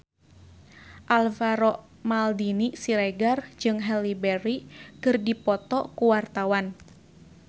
Alvaro Maldini Siregar jeung Halle Berry keur dipoto ku wartawan